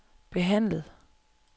behandlet